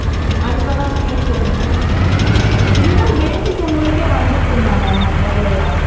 அதுக்குலாம் fees என்ன இதுலாம் basic உங்களுக்கே வந்துருக்கும் தானா வரலாயா